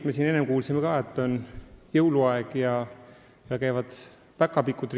Me siin enne kuulsime, et on jõuluaeg ja käivad ringi päkapikud.